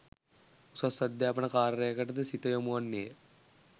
උසස් අධ්‍යාපන කාර්යකට ද සිත යොමුවන්නේය.